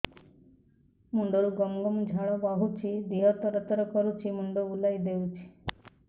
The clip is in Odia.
ମୁଣ୍ଡରୁ ଗମ ଗମ ଝାଳ ବହୁଛି ଦିହ ତର ତର କରୁଛି ମୁଣ୍ଡ ବୁଲାଇ ଦେଉଛି